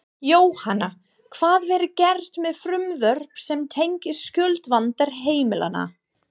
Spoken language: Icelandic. Jóhanna, hvað verður gert með frumvörp sem tengjast skuldavanda heimilanna?